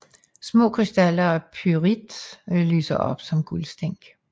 Små krystaller af pyrit lyser op som guldstænk